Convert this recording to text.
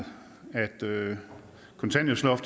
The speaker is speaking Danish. derfor